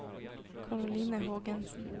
Karoline Hågensen